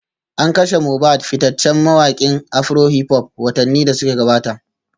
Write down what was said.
An kashe Mobad fitaccen mawakin afrohiphop watanni da suka gabata